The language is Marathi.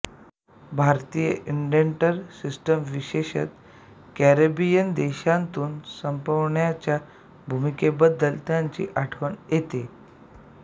भारतीय इंडेंटर सिस्टीम विशेषत कॅरिबियन देशांतून संपवण्याच्या भूमिकेबद्दलही त्यांची आठवण येते